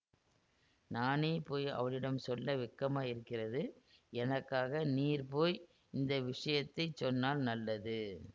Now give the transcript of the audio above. நானே போய் அவளிடம் சொல்ல வெட்கமாயிருக்கிறது எனக்காக நீர் போய் இந்த விஷயத்தை சொன்னால் நல்லது